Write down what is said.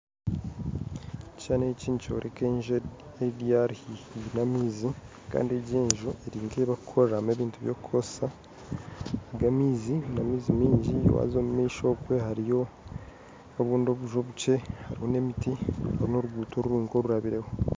Ekishushani eki nikyoreka enju eri haihi n'amaizi kandi egi enju eri nka erikukorerwamu ebintu by'okukoresa aga amaizi n'amaizi maingi waaza omumaisho okwe hariyo obundi obuju obukye hariyo n'emiti hariyo n'oruguudo rwonka orurabireho